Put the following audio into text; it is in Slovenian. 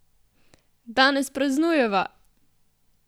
Danes praznujeva!